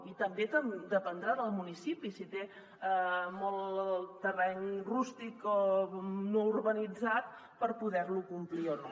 i també dependrà del municipi si té molt terreny rústic o no urbanitzat per poder lo complir o no